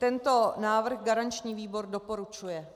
Tento návrh garanční výbor doporučuje.